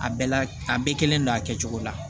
A bɛɛ la a bɛɛ kelen don a kɛcogo la